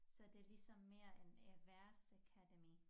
Så det ligesom mere en erhversakademi